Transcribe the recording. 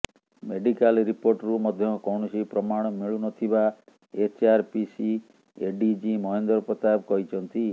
medical ରିପୋର୍ଟରୁ ମଧ୍ୟ କୌଣସି ପ୍ରମାଣ ମିଳୁନଥିବା ଏଚଆରପିସି ଏଡିଜି ମହେନ୍ଦ୍ର ପ୍ରତାପ କହିଛନ୍ତି